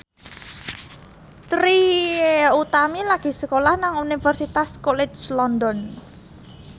Trie Utami lagi sekolah nang Universitas College London